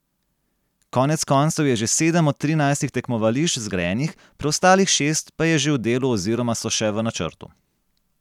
Konec koncev je že sedem od trinajstih tekmovališč zgrajenih, preostalih šest pa je že v delu oziroma so še v načrtu.